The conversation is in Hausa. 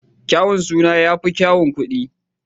Kyaun suna ya fi yawan kuɗI